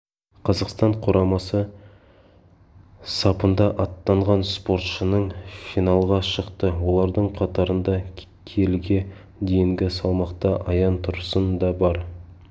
қазақстан құрамасы сапында аттанған спортшының финалға шықты олардың қатарында келіге дейінгі салмақта аян тұрсын да бар